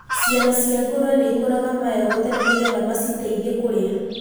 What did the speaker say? Ciana cia ngũrũe nĩ ikũraga magego tene nĩ getha maciteithie kũrĩa.